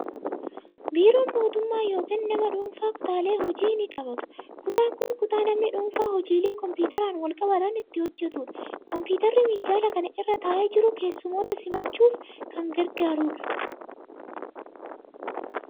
Biiroon mootummaa yookiin nama dhuunfaa kutaalee hojii ni qabaatu. Kutaan kun kutaa namni dhuunfaa hojiilee kompiitaraan wal qabatan itti hojjetudha. Kompiitarri minjaala kana irra taa'ee jiru, keessummoota simachuuf kan gargaarudha.